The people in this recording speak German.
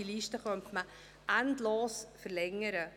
diese Liste könnte man endlos verlängern.